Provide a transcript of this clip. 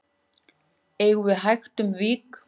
eigum við hægt um vik